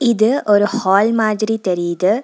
இது ஒரு ஹால் மாதிரி தெரியிது.